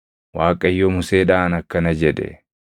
Waaqayyo Museedhaan akkana jedhe;